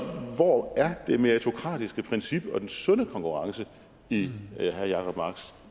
hvor er det meritokratiske princip og den sunde konkurrence i herre jacob marks